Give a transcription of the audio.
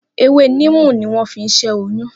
Ewé níìmù ni wọ́n fi ṣẹ́ oyún